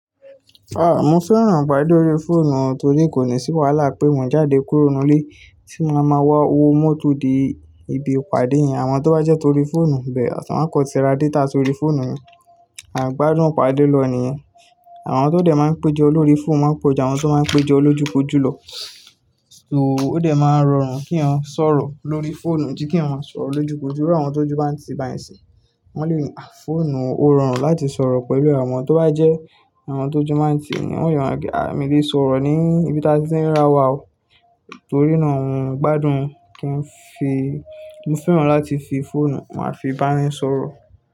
Ah, mo fẹ́ràn ìpàdé lórí fóònù torí kò ní sí wàhálà pé mo jáde kúrò nínú ilé tí mo la máa wọ owó mọ́tò dé ibi ìpàdé yẹn. Àwọn tó bá jẹ́ torí fóònù bẹ́ẹ̀, àṣà wọ́n a kan tí ra data sórí fóònù ni à n gbádùn ìpàdé lọ̀ọ́ niyẹn. Àwọn tó dẹ̀ máa ń péjọ lórí fóònù máa ń péjọ àwọn tó máa ń péjọ lójúkojú lọ. So ó dẹ̀ máa rọrùn kí èèyàn sọ̀rọ̀ lórí fóònù ju kí èèyàn máa sọ̀rọ̀ lójúkojú lọ. Irú àwọn tí ojù bà ń ti báyìí ni isin yìí, wọ́n lè ni, "à fóònù ó rọrùn láti sọ̀rọ̀ pẹ̀lú àwọn. Tó bá jẹ́ àwọn ti ojù máa ń ti ni." Wọn lè máa sọ wípé, "à mii lè sọ̀rọ̀ ní ibi tí a ti ń rí arà wa o." Torí náà mo gbádùn kí n fi, mo fẹ́ràn láti fi fóònù máa fi bá èèyàn sọ̀rọ̀.